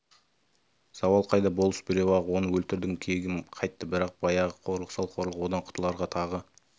зауал қайда болыс біреу-ақ оны өлтірдім кегім қайтты бірақ баяғы қорлық сол қорлық одан құтыларға тағы